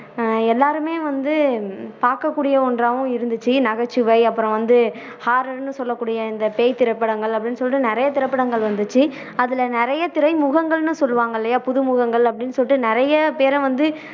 ஆஹ் எல்லாருமே வந்து பாக்கக்கூடிய ஒன்றாவும் இருந்துச்சு நகைச்சுவை அப்பறம் வந்து horror னு சொல்லக்கூடிய இந்த பேய் திரைப்படங்கள் அப்படின்னு சொல்லிட்டு நிறைய திரைப்படங்கள் வந்துச்சு அதுல நிறைய திரைமுகங்கள்னு சொல்லுவாங்க இல்லையா புதுமுகங்கள் அப்படின்னு சொல்லிட்டு நிறைய பேரை வந்து